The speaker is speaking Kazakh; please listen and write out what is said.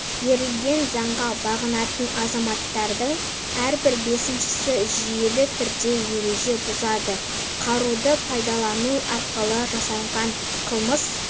берілген заңға бағынатын азаматтардың әрбір бесіншісі жүйелі түрде ереже бұзады қаруды пайдалану арқылы жасалған қылмыс